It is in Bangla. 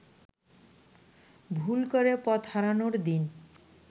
ভুল করে পথহারানোর দিন